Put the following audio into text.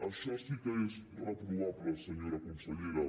això sí que és reprovable senyora consellera